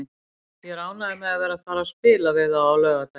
Ég er ánægður með að vera að fara að spila við þá á laugardaginn.